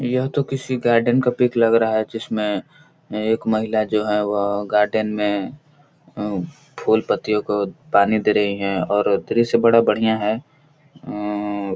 यह तो किसी गार्डन का पिक लग रहा है जिसमे एक महिला जो है वह गार्डन में फूल पत्तियों को पानी दे रही है और दृश्य बड़ा बढ़िया है। हूं --